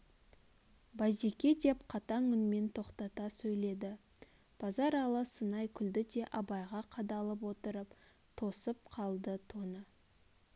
базеке деп қатаң үнмен тоқтата сөйледі базаралы сынай күлді де абайға қадалып отырып тосып қалды тоны